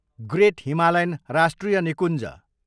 great Himalayan राष्ट्रिय निकुञ्ज